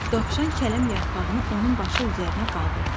Dovşan kələm yarpağını onun başı üzərinə qaldırdı.